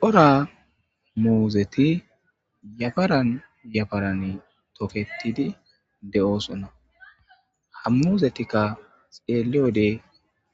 Cora muozeti yafaran yafaran toketidi de'oosonna hammuuzetikka xeeliyode